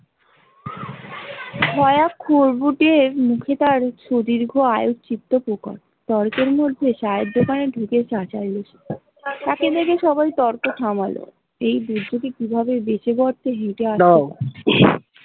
সু দীর্ঘ আয়ুর চিত্র প্রকর গল্পের মধ্যে ঢুকে তাকে দেখে সবাই তর্ক থামালও এই কিভাবে বেঁচে বর্তে হেঁটে আসত ।